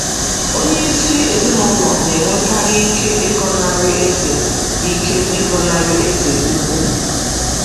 Onyeisi ezinụlọ na-enwekarị ike ịgọnarị eze ike ịgọnarị eze ukwu.